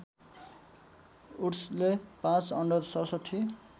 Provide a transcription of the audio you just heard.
वुड्सले ५ under ६७